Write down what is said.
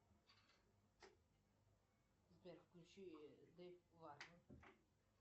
джой найди приключения